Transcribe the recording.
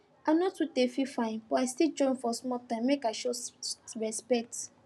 i no too dey feel fine but i still join for small time make i show respect